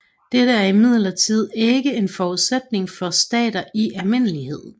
Dette er imidlertid ikke en forudsætning for stater i almindelighed